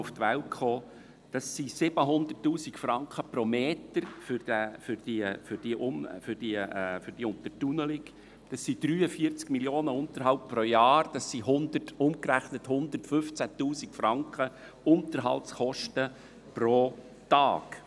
Es geht um 700 000 Franken pro Meter für diese Untertunnelung, um 43 Mio. Franken Unterhaltskosten pro Jahr und umgerechnet 115 000 Franken Unterhaltskosten pro Tag!